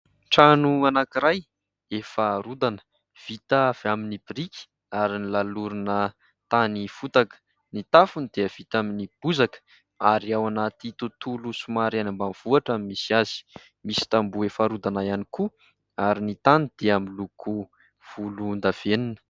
Trano anankiray efa rodana, vita avy amin'ny biriky ary nolalorina tany fotaka; ny tafony dia vita amin'ny bozaka ary ao anaty tontolo somary any Ambanivohitra no misy azy; misy tamboho efa rodana ihany koa ary ny tany dia miloko volondavenona.